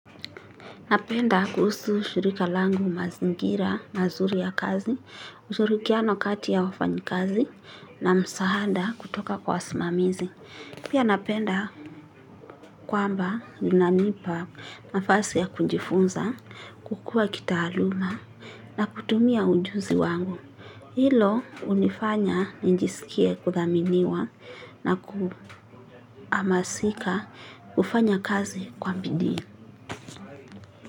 Napenda kuhusu shirika langu mazingira mazuri ya kazi, ushurikiano kati ya wafanyikazi na msaada kutoka kwa wasimamizi. Pia napenda kwamba linanipa nafasi ya kujifunza, kukua kitaaluma na kutumia ujuzi wangu. Hilo hunifanya nijisikie kuthaminiwa na kuamasika kufanya kazi kwa bidii.